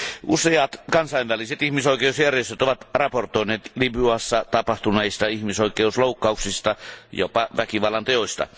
Useat kansainväliset ihmisoikeusjärjestöt ovat raportoineet Libyassa tapahtuneista ihmisoikeusloukkauksista, jopa väkivallanteoista.